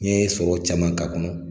N ye sɔrɔ caman k'a kɔnɔ.